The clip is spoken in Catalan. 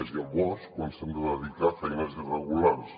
és llavors quan s’han de dedicar a feines irregulars